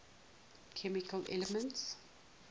chemical elements